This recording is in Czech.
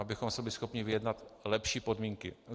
- abychom si byli schopni vyjednat lepší podmínky.